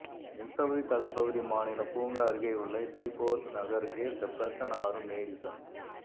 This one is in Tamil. மிசௌரி தலைப்பகுதி மாநில பூங்கா அருகேயுள்ள இத்ரி போர்க் நகருகே செப்பர்சன் ஆறும் மேடிசன்